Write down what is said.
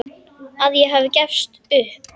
Að ég hafi gefist upp.